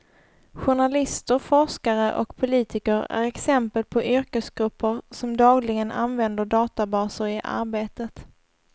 Journalister, forskare och politiker är exempel på yrkesgrupper som dagligen använder databaser i arbetet.